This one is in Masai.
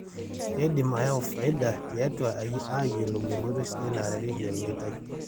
keidim enaa ayau faida tiatua aiyiolou enkoitoi sidai naarareki olmeitai